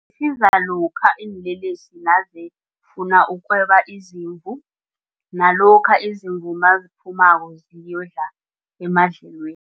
Isiza lokha iinlelesi nazifuna ukweba izimvu nalokha izimvu naziphumako ziyokudla emadlelweni.